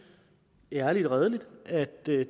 ærligt og redeligt at det